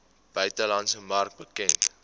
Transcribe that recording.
buitelandse mark bekend